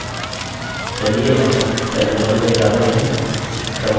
चलिए अब terminal में जाते हैं